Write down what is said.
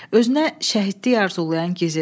Özünə şəhidlik arzulayan Gizir.